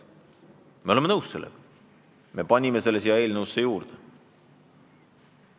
Me oleme sellega nõus ja me panime selle sätte eelnõusse juurde.